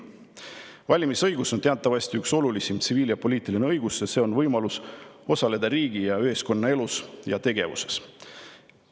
Valimisõigus on teatavasti üks olulisim tsiviil‑ ja poliitiline õigus, sest see annab võimaluse osaleda riigi ja ühiskonna elus ja tegevuses.